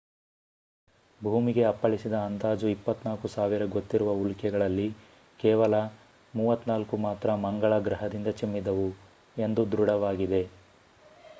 ಭೂಮಿಗೆ ಅಪ್ಪಳಿಸಿದ ಅಂದಾಜು 24,000 ಗೊತ್ತಿರುವ ಉಲ್ಕೆಗಳಲ್ಲಿ ಕೇವಲ್ 34 ಮಾತ್ರ ಮಂಗಳ ಗ್ರಹದಿಂದ ಚಿಮ್ಮಿದವು ಎಂದು ದೃಢವಾಗಿದೆ